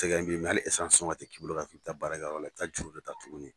E ka ɲin hali esansi sɔngɔ a tɛ k'i bolo ka f'i bɛ taa baarakɛyɔrɔ la, i bɛ taa juru da ta tugunni.